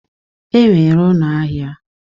E nwere ụnọ ahịa.